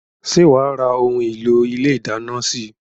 Ṣé wá ra òun èlò ilé ìdáná síí?